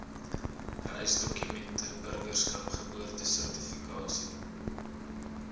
reisdokumente burgerskap geboorteregistrasie